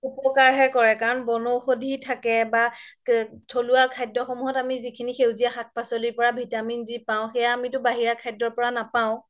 উপ্কাৰ হে কৰে কাৰন বন ঔষধি থাকে বা থলুৱা খাদ্য সমুহত আমি যিখিনি সাক পাচলিৰ পৰা vitamin যি পাও সেইয়া আমিতো বাহিৰা খদ্যৰ পৰা নাপাও